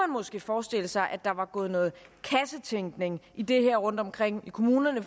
måske forestille sig at der var gået noget kassetænkning i det her rundtomkring i kommunerne